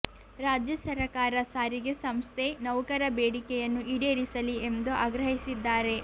ರಾಜ್ಯ ಸರಕಾರ ಸಾರಿಗೆ ಸಂಸ್ಥೆ ನೌಕರ ಬೇಡಿಕೆಯನ್ನು ಈಡೇರಿಸಲಿ ಎಂದು ಆಗ್ರಹಿಸಿದ್ದಾರೆ